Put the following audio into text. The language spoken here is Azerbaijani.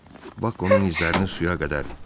Bak onun izlərini suya qədər iylədi.